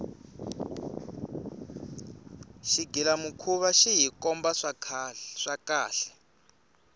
xighila mukhuva xi hikomba swa kahle